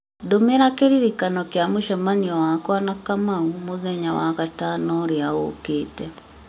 ndũmĩra kĩririkano kĩa mũcemanio wakwa na kamau muthenya wa gatano ũrĩa ũkĩte